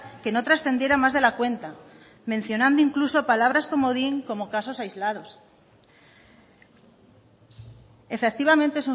que no trascendiera más de la cuenta mencionando incluso palabras comodín como casos aislados efectivamente